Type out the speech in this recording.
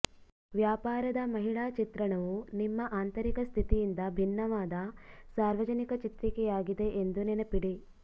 ವ್ಯಾಪಾರದ ಮಹಿಳಾ ಚಿತ್ರಣವು ನಿಮ್ಮ ಆಂತರಿಕ ಸ್ಥಿತಿಯಿಂದ ಭಿನ್ನವಾದ ಸಾರ್ವಜನಿಕ ಚಿತ್ರಿಕೆಯಾಗಿದೆ ಎಂದು ನೆನಪಿಡಿ